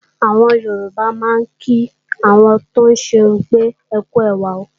Àwọn Yorùbá máa ń kí àwọn tóún ṣerun pé "ẹkú ẹwà o"